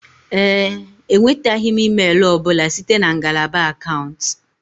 Ee e, enwetaghị m email ọ bụla site na ngalaba akaụntụ